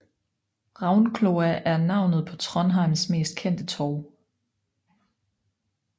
Ravnkloa er navnet på Trondheims mest kendte torv